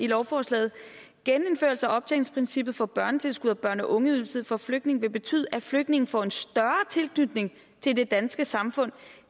lovforslaget genindførelse af optjeningsprincippet for børnetilskud og børne og ungeydelse for flygtninge vil betyde at flygtninge får en større tilknytning til det danske samfund